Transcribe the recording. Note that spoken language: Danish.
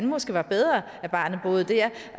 måske var bedre at barnet boede der